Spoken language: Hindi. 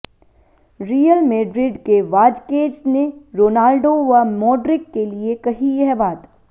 रियल मेड्रिड के वाजकेज ने रोनाल्डो व मोड्रिक के लिए कही यह बात